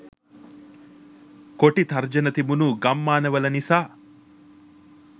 කොටි තර්ජනය තිබුණු ගම්මානවල නිසා.